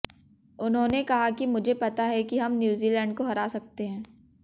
उन्होंने कहा कि मुझे पता है कि हम न्यूजीलैंड को हरा सकते हैं